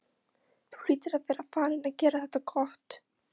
Þú hlýtur að vera farinn að gera það gott!